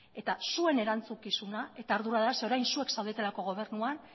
eta zuen erantzukizuna eta ardura da orain zuek zaudetelako gobernuan